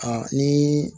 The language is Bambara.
ni